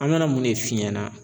An mana mun de f'i ɲɛna